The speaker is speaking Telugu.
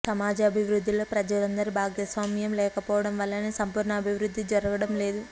సమాజ అభివృద్ధిలో ప్రజలందరి భాగస్వా మ్యం లేకపోవడం వల్లనే సంపూర్ణ అభివృద్ధి జరగడం లేదు